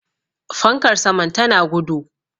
fankar saman tana gudu